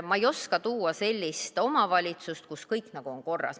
Ma ei oska tuua sellist omavalitsust, kus oleks kõik nagu korras.